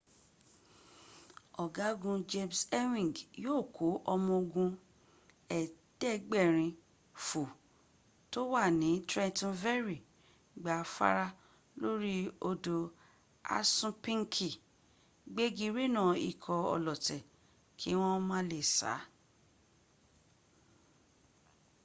ọ̀gágun james ewing yóò kó ọmọ ológun ẹ̀ẹ́dẹ́gbẹ̀rin fo oi tó wà ní trenton ferry gba afárá lórí odọ̀ assunpinki gbégi rénà ikọ̀ ọlọ̀tẹ̀ kí wọ́n má lè sá